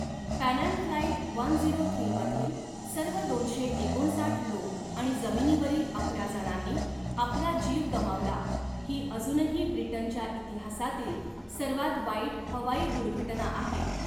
Pan Am flight one zero three मधील सर्व दोनशे एकोणसाठ लोक आणि जमिनीवरील अकरा जणांनी आपला जीव गमावला, ही अजूनही ब्रिटनच्या इतिहासातील सर्वात वाईट हवाई दुर्घटना आहे.